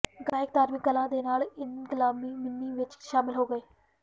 ਗਾਇਕ ਧਾਰਮਿਕ ਕਲਾ ਦੇ ਨਾਲ ਇਨਕਲਾਬੀ ਮਿੰਨੀ ਵਿੱਚ ਸ਼ਾਮਲ ਹੋ ਗਏ